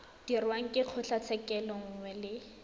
dirwang ke kgotlatshekelo nngwe le